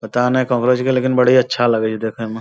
पता नै लेकिन बड़ा अच्छा लगै देखै म |